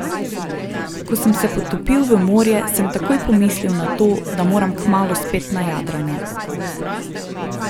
Ko sem se potopil v morje, sem takoj pomislil na to, da moram kmalu spet na jadranje.